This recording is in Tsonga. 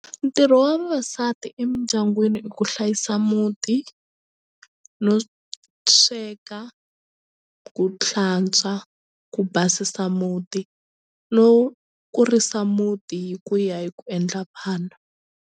Ntirho wa vavasati emindyangwini i ku hlayisa muti no sweka ku hlantswa ku basisa muti no kurisa muti hi ku ya hi ku endla vana.